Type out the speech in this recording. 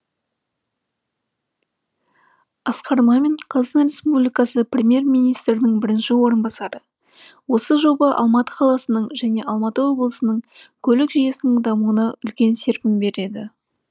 асқар мамин қр премьер министрінің бірінші орынбасары осы жоба алматы қаласының және алматы облысының көлік жүйесінің дамуына үлкен серпін береді